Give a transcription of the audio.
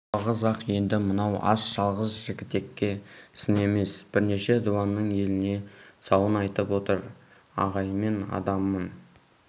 жалғыз-ақ енді мынау ас жалғыз жігітекке сын емес бірнеше дуанның еліне сауын айтып отыр ағайынмен адаммын